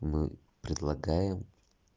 мы предлагаем